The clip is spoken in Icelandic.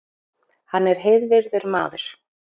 Hann er heiðvirður maður